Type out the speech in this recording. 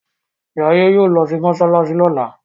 Jaiye yóò ló sì masalasi lola.